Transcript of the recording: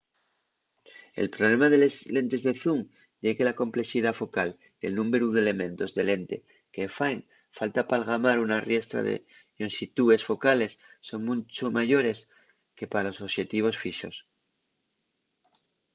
el problema de les lentes de zoom ye que la complexidá focal y el númberu d’elementos de lente que faen falta p’algamar una riestra de llonxitúes focales son muncho mayores que pa los oxetivos fixos